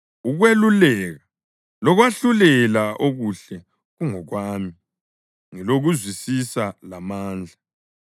Ukweluleka lokwahlulela okuhle kungokwami; ngilokuzwisisa lamandla.